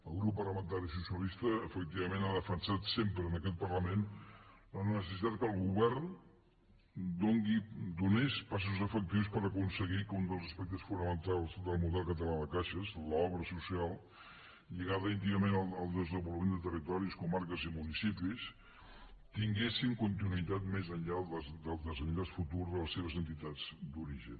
el grup parlamentari socialista efectivament ha defensat sempre en aquest parlament la necessitat que el govern fes passos efectius per aconseguir que un dels aspectes fonamentals del model català de caixes l’obra social lligada íntimament al desenvolupament de territoris comarques i municipis tingués continuïtat més enllà del desenllaç futur de les seves entitats d’origen